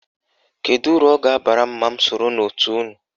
Kedu uru ọ ga-abara m ma m soro n'òtù unu?